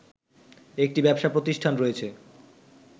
একটি ব্যবসা প্রতিষ্ঠান রয়েছে